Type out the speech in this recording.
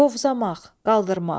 Qovzamaq, qaldırmaq.